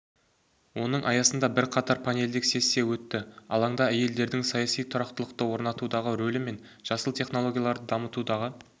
оның аясында бірқатар панельдік сессия өтті алаңда әйелдердің саяси тұрақтылықты орнатудағы рөлі мен жасыл технологияларды дамытудағы